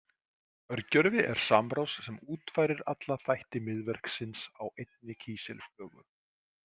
Örgjörvi er samrás sem útfærir alla þætti miðverksins á einni kísilflögu.